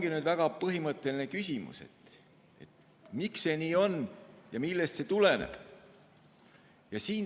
See ongi väga põhimõtteline küsimus: miks see nii on ja millest see tuleneb?